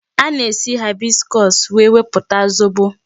A na-esi hibiscus wee wepụta zobo.